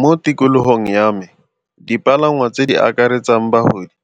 Mo tikologong ya me dipalangwa tse di akaretsang bagodi